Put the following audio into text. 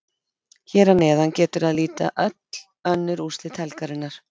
Hér að neðan getur að líta öll önnur úrslit helgarinnar.